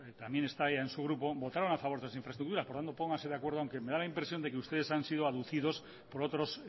también está ea en su grupo votaron a favor de las infraestructuras por tanto pongase de acuerdo aunque me da la impresión de que ustedes han sido abducidos por otros